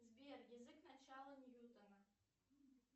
сбер язык начала ньютона